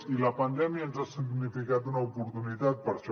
i la pandèmia ens ha significat una oportunitat per a això